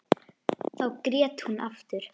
Þá grét hún aftur.